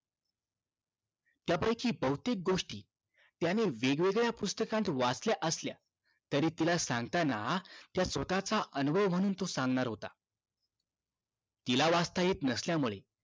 त्यापैकी बहुतेक गोष्टी त्याने वेगवेगळ्या पुस्तकात वाचल्या असल्या तरी तिला सांगताना त्या स्वतःचा अनुभव म्हणून तो सांगणार होता तिला वाचता येत नसल्यामुळे